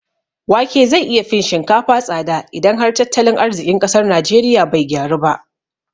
Wake zai iya fin shinkafa tsada idan har tattalin arziƙin ƙasar najeriya bai gyaru ba